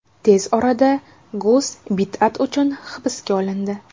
Tez orada Gus bid’at uchun hibsga olindi.